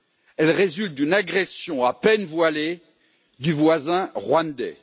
Elle résulte d'une agression à peine voilée du voisin rwandais.